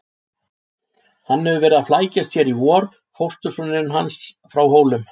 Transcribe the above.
Hann hefur verið að flækjast hér í vor, fóstursonurinn hans frá Hólum.